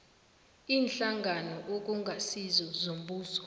iinhlangano okungasizo zombuso